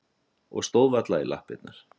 Og stóð varla í lappirnar.